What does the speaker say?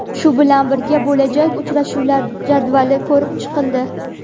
Shu bilan birga, bo‘lajak uchrashuvlar jadvali ko‘rib chiqildi.